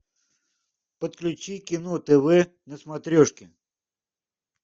подключи кино тв на смотрешке